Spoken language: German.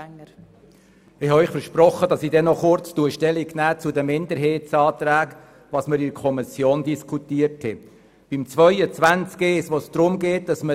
der SiK. Ich habe Ihnen versprochen, noch kurz zu den Minderheitsanträgen Stellung zu nehmen und Ihnen zu berichten, was wir in der Kommission diskutiert haben.